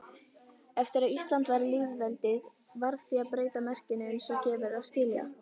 Eftir að Ísland varð lýðveldi varð því að breyta merkinu eins og gefur að skilja.